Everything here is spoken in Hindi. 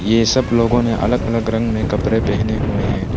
ये सब लोगों ने अलग अलग रंग में कपड़े पहने हुए हैं।